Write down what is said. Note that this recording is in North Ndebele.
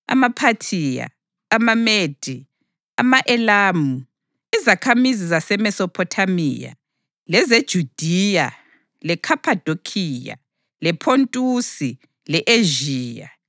AmaPhathiya, amaMede, ama-Elamu; izakhamizi zaseMesophothamiya, lezeJudiya leKhaphadokhiya, lePhontusi le-Ezhiya,